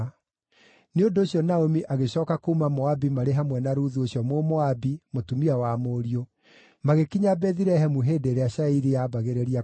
Nĩ ũndũ ũcio Naomi agĩcooka kuuma Moabi marĩ hamwe na Ruthu ũcio Mũmoabi, mũtumia wa mũriũ, magĩkinya Bethilehemu hĩndĩ ĩrĩa cairi yaambagĩrĩria kũgethwo.